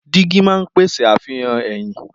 Dígí máa ń pèsè àfihàn ẹ̀yìn.